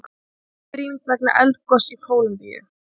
Heimili rýmd vegna eldgoss í Kólumbíu